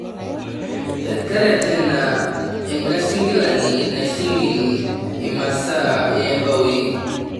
teretena enkasingilani nasingil imasaa oombaoi